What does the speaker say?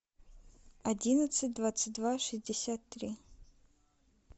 одиннадцать двадцать два шестьдесят три